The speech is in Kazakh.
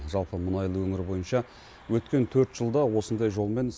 жалпы мұнайлы өңір бойынша өткен төрт жылда осындай жолмен